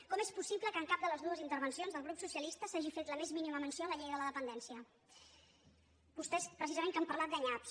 com és possible que en cap de les dues intervencions del grup socialista s’hagi fet la més mínima menció de la llei de la dependència vostès precisament que han parlat de nyaps